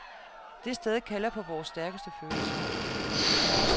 Det sted kalder på vores stærkeste følelser.